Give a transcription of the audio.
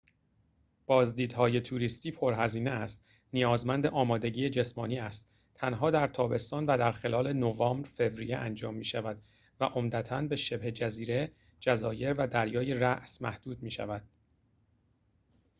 بازدیدهای توریستی پرهزینه است نیازمند آمادگی جسمانی است تنها در تابستان و در خلال نوامبر-فوریه انجام می‌شود و عمدتاً به شبه جزیره جزایر و دریای راس محدود می‌شود